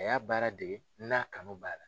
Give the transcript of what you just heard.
A y'a baara dege n'a kanu b'a la.